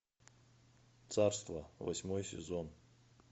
царство восьмой сезон